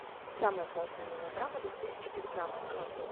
самая классная мелодрама две тысячи девятнадцатого года